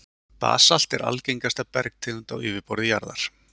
basalt er algengasta bergtegund á yfirborði jarðar